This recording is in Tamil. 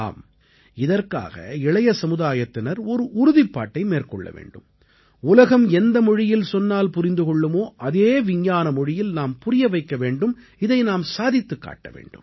ஆம் இதற்காக இளைய சமுதாயத்தினர் ஒரு உறுதிப்பாட்டை மேற்கொள்ள வேண்டும் உலகம் எந்த மொழியில் சொன்னால் புரிந்து கொள்ளுமோ அதே விஞ்ஞான மொழியில் நாம் புரிய வைக்க வேண்டும் இதை நாம் சாதித்துக் காட்ட வேண்டும்